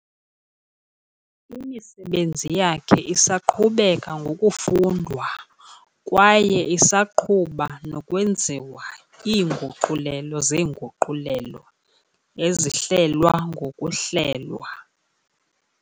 Imisebenzi yakhe isaqhubeka ngokufundwa kwaye isaqhuba nokwenziwa iinguqulelo zeenguqulelo, ezihlelwa ngokuhlelwa.